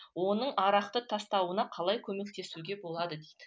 оның арақты тастауына қалай көмектесуге болады дейді